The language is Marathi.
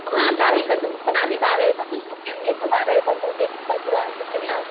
हां दहावीपासून पण आम्ही बारावीपासून पुढच्याच घेतो बारावीपासून जे पण पुढे असतील ना.